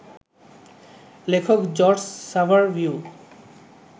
লেখক জর্জ সাভারভিও